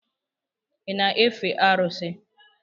Ị na-efe arụsị?